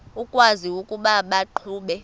ukwazi ukuba baqhuba